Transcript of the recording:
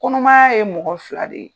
Kɔnɔmaya ye mɔgɔ fila de ye.